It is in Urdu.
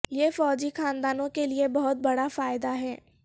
یہ فوجی خاندانوں کے لئے بہت بڑا فائدہ ہے